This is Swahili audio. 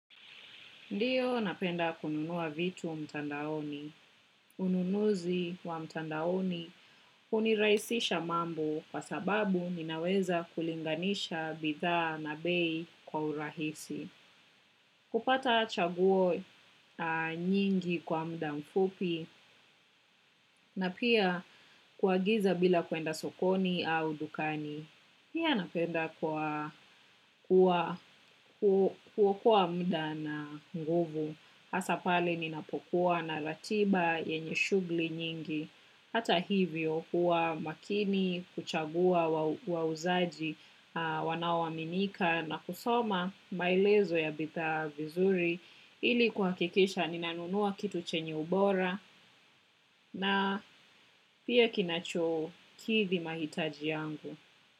Ndiyo napenda kununua vitu mtandaoni. Ununuzi wa mtandaoni unirahisisha mambo kwa sababu ninaweza kulinganisha bidhaa na bei kwa urahisi. Kupata chaguo nyingi kwa muda mfupi na pia kuagiza bila kuenda sokoni au dukani. Pia napenda kuwa kuwa kuokoa muda na nguvu hasa pale ninapokuwa na ratiba yenye shughuli nyingi hata hivyo huwa makini huchagua wa wauzaji wanaoaminika na kusoma maelezo ya bidhaa vizuri ili kuhakikisha ninanunua kitu chenye ubora na pia kinachokidhi mahitaji yangu.